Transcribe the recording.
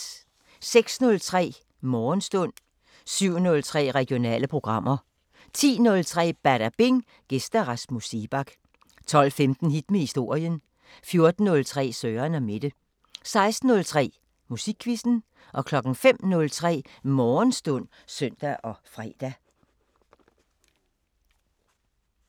06:03: Morgenstund 07:03: Regionale programmer 10:03: Badabing: Gæst Rasmus Seebach 12:15: Hit med historien 14:03: Søren & Mette 16:03: Musikquizzen 05:03: Morgenstund (søn-fre)